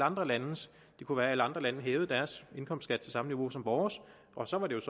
andre landes det kunne være at alle andre lande hævede deres indkomstskat til samme niveau som vores og så ville